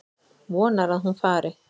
Vonar að hún fari.